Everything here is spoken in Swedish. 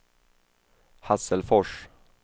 Hasselfors